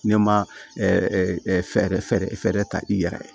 Ne ma fɛɛrɛ fɛɛrɛ ta i yɛrɛ ye